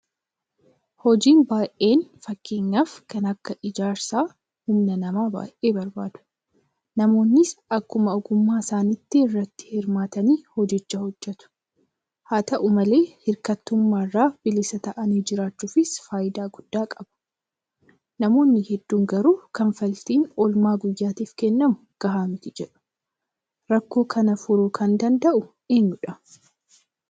Hojii baay'een fakkeenyaaf kan akka ijaarsaa humna namaa baay'ee barbaadu. Namoonnis akkuma ogummaa isaaniitti irratti hirmaatanii hojicha hojjetu. Haata'u malee hirkattummaa irraa bilisa ta'anii jiraachuufis faayidaa gudd qaba. Namoonni hedduun garuu kanfaltiin oolmaa guyyaatiif kennamu gahaa miti jedhu. Rakkoo kana furuu kan danda'u eenyudha?